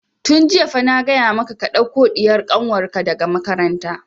Tun jiya fa na gaya maka ka ɗauko ɗiyar kanwar ka daga makaranta!